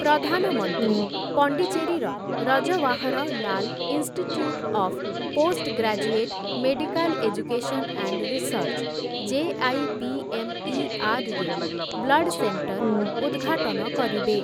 ପ୍ରଧାନମନ୍ତ୍ରୀ ପଣ୍ଡିଚେରୀର Jawaharlal institute of post graduate medical education and research ଜେ.ଆଇ.ପି.ଏମ୍‌.ଇ.ଆର୍‌.ରେ ବ୍ଲଡ୍‌ସେଣ୍ଟର ଉଦ୍‌ଘାଟନ କରିବେ ।